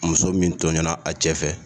Muso min tɔɲɔna a cɛ fɛ